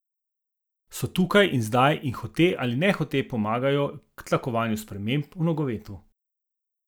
So tukaj in zdaj in hote ali nehote pomagajo k tlakovanju sprememb v nogometu.